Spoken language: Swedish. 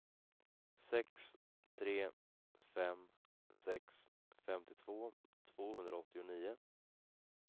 sex tre fem sex femtiotvå tvåhundraåttionio